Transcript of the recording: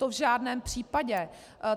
To v žádném případě.